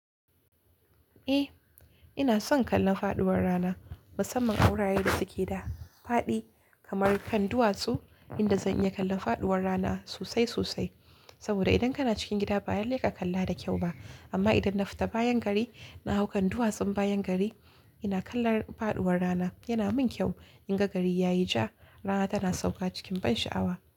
Eh, ina son kallon faɗuwar rana. Musamman awurare da suke da faɗi kamar kan duwatsu, inda zan iya kallon faɗuwar rana sosai sosai. Saboda idan kana cikin gida ba lallai kakalla da kyau ba. Amma idan na fita bayan gari na hau kan duwatsun bayan gari ina kallon faɗuwar rana. Yana mun kyau in ga gari ya yi ja, rana tana sauka cikin ban sha'awa.